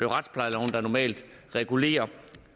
retsplejeloven der normalt regulerer